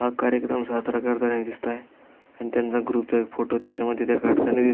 हा कार्यक्रम साजरा करतानी दिसतय आणि त्यांचा ग्रुप चा फोटो त्या काडताणी --